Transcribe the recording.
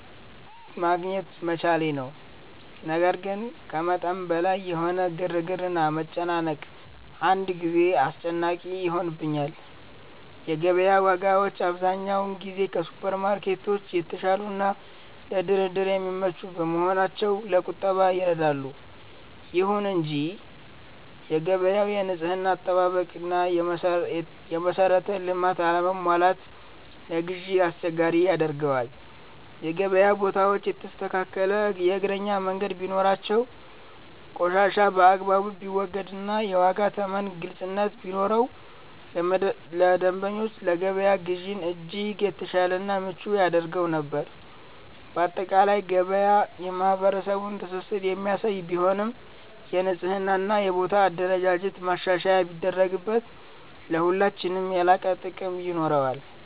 ማግኘት መቻሌ ነው። ነገር ግን ከመጠን በላይ የሆነው ግርግርና መጨናነቅ አንዳንድ ጊዜ አስጨናቂ ይሆንብኛል። የገበያ ዋጋዎች አብዛኛውን ጊዜ ከሱፐርማርኬቶች የተሻሉና ለድርድር የሚመቹ በመሆናቸው ለቁጠባ ይረዳሉ። ይሁን እንጂ የገበያው የንጽህና አጠባበቅና የመሰረተ ልማት አለመሟላት ለግዢ አስቸጋሪ ያደርገዋል። የገበያ ቦታዎች የተስተካከለ የእግረኛ መንገድ ቢኖራቸው፣ ቆሻሻ በአግባቡ ቢወገድና የዋጋ ተመን ግልጽነት ቢኖረው ለደንበኞች የገበያ ግዢን እጅግ የተሻለና ምቹ ያደርገው ነበር። ባጠቃላይ ገበያ የማህበረሰቡን ትስስር የሚያሳይ ቢሆንም፣ የንጽህናና የቦታ አደረጃጀት ማሻሻያ ቢደረግበት ለሁላችንም የላቀ ጥቅም ይኖረዋል።